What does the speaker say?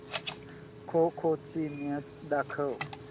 खो खो ची मॅच दाखव